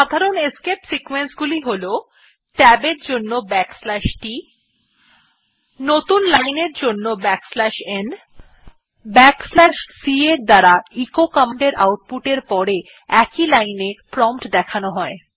সাধারণ escape sequence গুলি হল ট্যাব এর জন্য t নতুন লাইন এর জন্য n এবং c এসকেপ সিকোয়েন্স এর দ্বারা এচো কমান্ড এর আউট পুট er পরে প্রম্পট একই লাইন এ দেখানো হয়